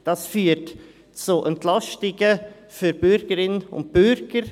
Das führt zu Entlastungen für Bürgerinnen und Bürger.